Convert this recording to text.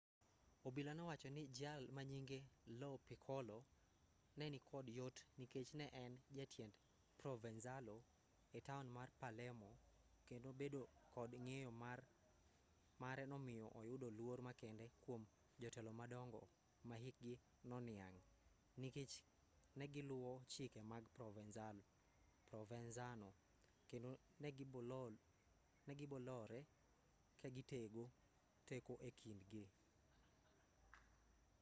obila nowacho ni jal manyinge lo piccolo nenikod yot nikech ne en jatiend provenzalo etaon mar palermo kendo bedo kod ng'eyo mare nomiyo oyudo luor makende kuom jotelo madongo mahikgi noniang' nikech negiluwo chike mag provenzano kendo negibolore kagitego teko ekind gi